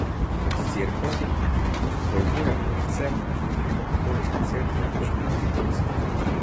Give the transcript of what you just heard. Kot Cerkev, pojmujem predvsem rimokatoliško cerkev kot institucijo.